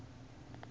a a nga ri na